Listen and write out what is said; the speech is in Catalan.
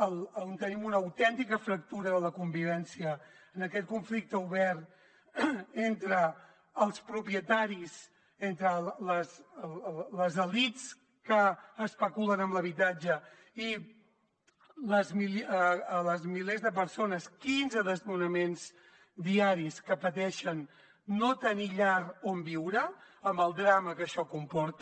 i tenim una autèntica fractura de convivència en aquest conflicte obert entre els propietaris entre les elits que especulen amb l’habitatge i els milers de persones quinze desnonaments diaris que pateixen no tenir llar on viure amb el drama que això comporta